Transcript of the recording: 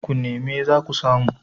ku neme za ku samu